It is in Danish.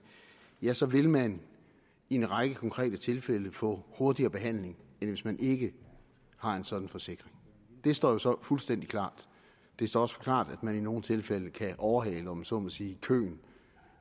ja så vil man i en række konkrete tilfælde få hurtigere behandling end hvis man ikke har en sådan forsikring det står jo så fuldstændig klart det står også klart at man i nogle tilfælde kan overhale om jeg så må sige køen